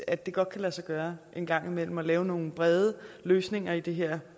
at det godt kan lade sig gøre en gang imellem at lave nogle brede løsninger i det her